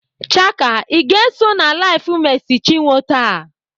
Chaka, Ị ga-eso na LIVE Mercy Chinwe taa?